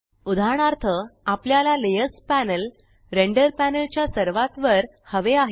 उदाहरणार्थ आपल्याला layer panel render panel च्या सर्वात वर हवे आहे